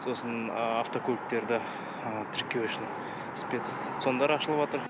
сосын ыыы автокөліктерді ы тіркеу үшін спец цон дар ашылыватыр